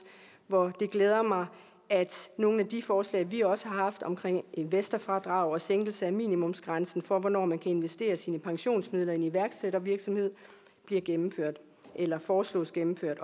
det glæder mig at nogle af de forslag vi også har haft om investorfradrag og sænkelse af minimumsgrænsen for hvornår man kan investere sine pensionsmidler i en iværksættervirksomhed bliver gennemført eller foreslås gennemført